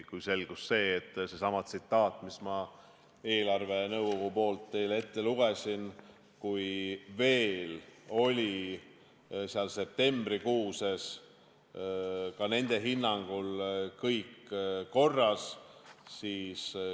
Sellesama eelarvenõukogu tsitaadi ma lugesin teile ette, et veel septembrikuus oli ka nende hinnangul kõik korras.